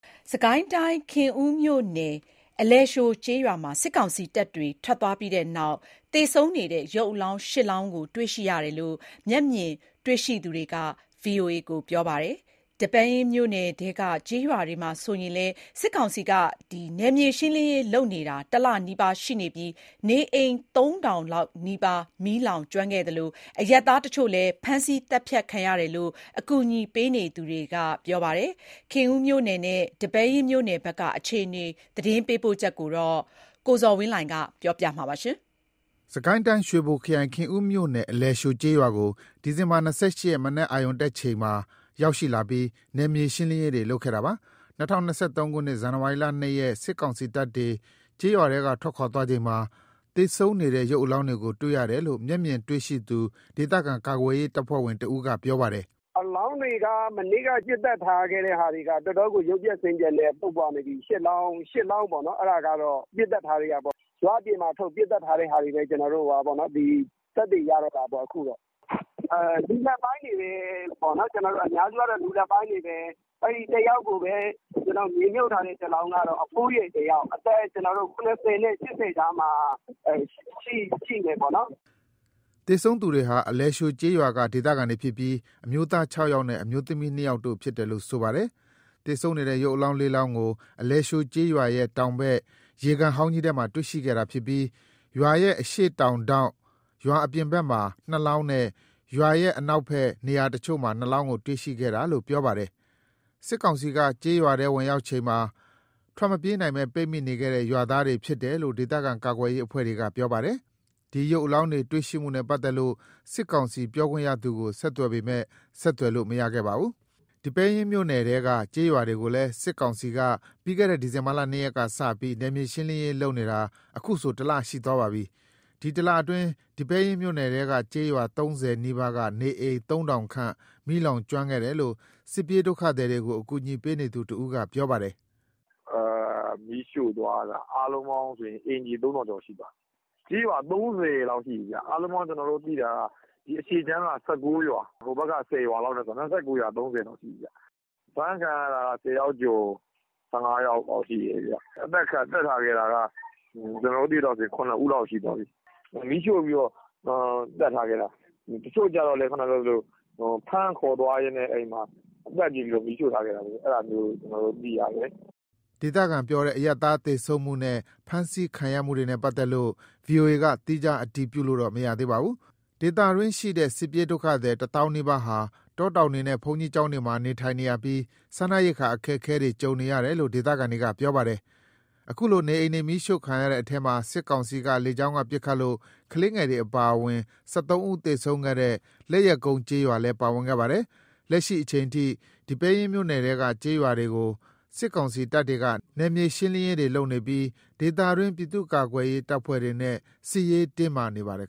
စစ်ကိုင်းတိုင်း၊ ခင်ဦးမြို့နယ် အလယ်သျှိုကျေးရွာမှာ စစ်ကောင်စီတပ်တွေ ထွက်သွားပြီးတဲ့နောက် အလောင်း ၈ လောင်း တွေ့ရှိရတယ်လို့ မျက်မြင်တွေ့ရှိသူတွေက ပြောပါတယ်။ ဒီပဲယင်းမြို့နယ်ထဲက ကျေးရွာတွေမှာလည်း စစ်ကောင်စီက နယ်မြေရှင်းလင်းရေးလုပ်နေတာ ၁ လနီးပါးရှိနေပြီး နေအိမ် ၃,၀၀၀ ခန့် မီးလောင်ကျွမ်းခဲ့သလို အရပ်သားတချို့ ဖမ်းဆီးသတ်ဖြတ်ခံရတယ်လို့ အကူအညီပေးနေသူတွေက ပြောပါတယ်။ ခင်ဦးမြို့နယ်နဲ့ ဒီပဲယင်းမြို့နယ်ဘက်က အခြေအနေ သတင်းပေးပို့ချက်ကို ကိုဇော်ဝင်းလှိုင်က တင်ပြပေးထားပါတယ်။ စစ်ကိုင်းတိုင်း၊ ရွှေဘိုခရိုင် ခင်ဦးမြို့နယ် အလယ်သျှိုကျေးရွာကို ဒီဇင်ဘာ ၂၈ ရက် မနက်အရုဏ်တက်ချိန်မှာရောက်လာပြီး နယ်မြေရှင်းလင်းရေးလုပ်ခဲ့တာပါ။ ၂၀၂၃ ခုနှစ် ဇန်နဝါရီ ၂ ရက် စစ်ကောင်စီတပ်တွေ ကျေးရွာထဲကထွက်ခွာချိန်မှာ သေဆုံးနေတဲ့ ရုပ်အလောင်းတွေကို တွေ့ရတယ်လို့ မျက်မြင်တွေ့ရှိသူ ဒေသခံကာကွယ်ရေးတပ်ဖွဲ့ဝင်တဦးက ပြောပါတယ်။ “အလောင်းတွေက မနေ့က ပစ်သတ်ထားတဲ့ဟာတွေက တော်တော့်ကို ရုပ်ပျက်ဆင်းပျက်နဲ့ ပုပ်ပွနေပြီ။ ၈ လောင်းပေါ့။ အဲ့ဒါကတော့ ပစ်သတ်ထားတဲ့ဟာပေါ့။ ရွာအပြင်ထုတ်ပြီး ပစ်သတ်ထားတဲ့ဟာတွေပဲ သက်သေရတော့တာပေါ့။ လူလတ်ပိုင်းတွေပဲ။ အများစုက လူလတ်ပိုင်းတွေပဲ။ မြေမြှုပ်ထားတဲ့ တလောင်းက အဖိုးကြီး။ အသက် ၇၀ နဲ့ ၈၀ ကြားမှာရှိတယ်။” သေဆုံးသူတွေဟာ အလယ်သျှိုကျေးရွာက ဒေသခံတွေဖြစ်ပြီး အမျိုးသား ၆ ယောက်နဲ့ အမျိုးသမီး ၂ ယောက်တို့ဖြစ်တယ်လို့ ဆိုပါတယ်။ ရုပ်အလောင်း ၄ လောင်းကို အလယ် သျှိုရွာရဲ့တောင်ဘက် ရေကန်ဟောင်းကြီးထဲမှာ တွေ့ရှိခဲ့တာဖြစ်ပြီး၊ ရွာရဲ့ အရှေ့တောင်ထောင့် ရွာအပြင်ဘက်မှာ နှစ်လောင်းနဲ့ ရွာရဲ့ နောက်ထပ် နေရာအချို့ မှာ နှစ်လောင်းတွေ့ခဲ့တာလို့ ပြောပါတယ်။ စစ်ကောင်စီက ကျေးရွာထဲဝင်ရောက်ချိန်မှာ ထွက်မပြေးနိုင်ဘဲ ပိတ်မိနေခဲ့တဲ့ ရွာသားတွေဖြစ်တယ်လို့ ဒေသခံကာကွယ်ရေးအဖွဲ့က ပြောပါတယ်။ ဒီ ရုပ်အလောင်းတွေနဲ့ပတ်သက်လို့ စစ်ကောင်စီပြောခွင့်ရသူကို ဆက်သွယ်ပေမယ့် ဆက်သွယ်လို့မရခဲ့ပါဘူး။ စစ်ကိုင်းတိုင်း ဒီပဲယင်းမြို့နယ်ထဲက ကျေးရွာတွေကိုလည်း စစ်ကောင်စီက ပြီးခဲ့တဲ့နှစ် ဒီဇင်ဘာ ၂ ရက်က စပြီး နယ်မြေရှင်းလင်းရေးလုပ်နေတာ အခုဆို ၁ လရှိသွားပါပြီ။ ဒီ ၁ လအတွင်း ဒီပဲယင်းမြို့နယ်ထဲက ကျေးရွာ ၃၀ နီးပါးက နေအိမ် ၃,၀၀၀ ခန့် မီးလောင် ကျွမ်းခဲ့တယ်လို့ စစ်ပြေးဒုက္ခသည်တွေကို အကူအညီပေးနေသူတဦးက ပြောပါတယ်။ “မီးရှို့သွားတာ အားလုံးပေါင်းဆို အိမ်ခြေ ၃ ထောင်လောက်ရှိသွားပြီ။ ကျေးရွာ ၃၀ လောက်ရှိပြီ။ အားလုံးပေါင်း ကျနော်တို့သိတာက အရှေ့ခြမ်းက ၁၀ ရွာ။ ဟိုဘက်ခြမ်း (အနောက်) က ၁၉ ရွာနဲ့ဆို ၂၉ ရွာ၊ ၃၀ လောက်ရှိပြီ။ အဖမ်းခံရတာ ၁၀ ယောက်ကျော် ၁၅ ယောက်လောက်ရှိတယ်။ အသတ်ခံရတာက ကျနော်တို့ သိသလောက်ဆို ၇ ဦးလောက်ရှိသွားပြီ။ မီးရှို့ပြီးတော့ သတ်ထားခဲ့တာ။ တချို့ကျတော့လည်း ဖမ်းခေါ်သွားရင်း သတ်ပစ်ပြီးမီးရှို့ထားခဲ့တာ။ အဲ့ဒါမျိုး ကျနော်တို့ သိရတယ်။” ဒေသခံပြောတဲ့ အရပ်သားသေဆုံးမှုနဲ့ ဖမ်းဆီးခံရမှုတွေနဲ့ ပတ်သက်လို့ VOA က သီးခြားအတည်ပြုလို့မရသေးပါဘူး။ ဒေသတွင်းရှိတဲ့ စစ်ပြေးဒုက္ခသည် တသောင်းနီးပါးဟာ တောတောင်တွေနဲ့ ဘုန်းကြီးကျောင်းတွေမှာ နေထိုင်နေရပြီး စားနပ်ရိက္ခာ အခက်အခဲ ကြုံနေရတယ်လို့ ဒေသခံတွေကပြောပါတယ်။ အခုလို နေအိမ်တွေမီးရှို့ခံရတဲ့အထဲမှာ စစ်ကောင်စီက လေကြောင်းက ပစ်ခတ်လို့ ကလေးငယ်တွေ အပါအဝင် ၁၃ ဦးသေဆုံးခဲ့တဲ့ လက်ယက်ကုန်းကျေးရွာလည်း ပါဝင်ခဲ့ပါတယ်။ လက်ရှိအချိန်ထိ ဒီပဲယင်းမြို့နယ်ထဲကကျေးရွာတွေကို စစ်ကောင်စီတပ်တွေက နယ်မြေရှင်းလင်းရေးတွေလုပ်နေပြီး ဒေသတွင်း ပြည်သူ့ကာကွယ်ရေး တပ်ဖွဲ့တွေနဲ့ စစ်ရေးတင်းမာနေပါတယ်